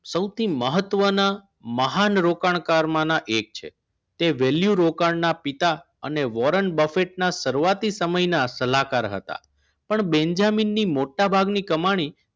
સૌથી મહત્વના મહાન રોકાણકાર માંના એક છે તે વેલ્યુ રોકાણના પિતા અને બોરેન બફેટ ના શરૂઆત સમયના સલાહકાર હતા પણ બેન્જામિનની મોટાભાગની કમાણી